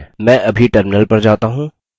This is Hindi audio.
मैं अभी terminal पर जाता हूँ